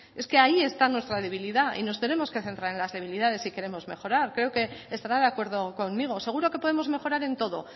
es que ahí está nuestra debilidad y nos tenemos que centrar en las debilidades si queremos mejorar creo que estará de acuerdo conmigo seguro que podemos mejorar en todo